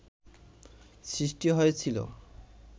সৃষ্টি হয়েছিল